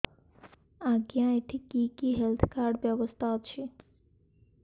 ଆଜ୍ଞା ଏଠି କି କି ହେଲ୍ଥ କାର୍ଡ ବ୍ୟବସ୍ଥା ଅଛି